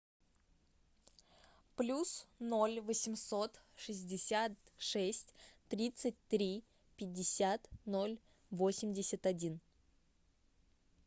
плюс ноль восемьсот шестьдесят шесть тридцать три пятьдесят ноль восемьдесят один